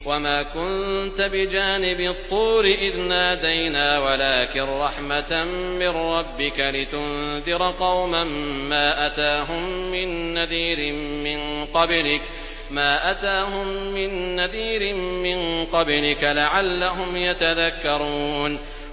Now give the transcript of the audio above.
وَمَا كُنتَ بِجَانِبِ الطُّورِ إِذْ نَادَيْنَا وَلَٰكِن رَّحْمَةً مِّن رَّبِّكَ لِتُنذِرَ قَوْمًا مَّا أَتَاهُم مِّن نَّذِيرٍ مِّن قَبْلِكَ لَعَلَّهُمْ يَتَذَكَّرُونَ